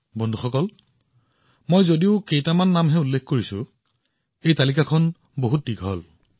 বন্ধুসকল মই মাত্ৰ কেইটামান নামৰ বিষয়ে উল্লেখ কৰিছো এই তালিকাখন বহুত দীঘল